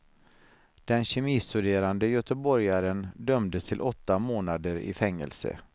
Den kemistuderande göteborgaren dömdes till åtta månader i fängelse.